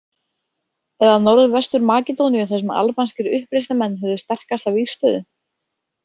Eða Norðvestur- Makedóníu þar sem albanskir uppreisnarmenn höfðu sterkasta vígstöðu?